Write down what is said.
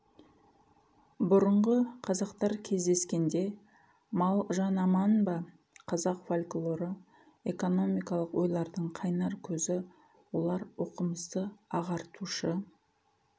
бұрынғы қазақтар кездескенде мал жан аман ба қазақ фольклоры экономикалық ойлардың қайнар көзі олар оқымысты ағартушы